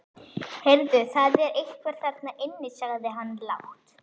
Heyrðu, það er einhver þarna inni sagði hann lágt.